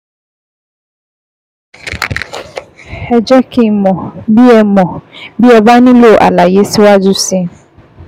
Ẹ jẹ́ kí n mọ̀ bí ẹ mọ̀ bí ẹ bá nílò àlàyé síwájú sí i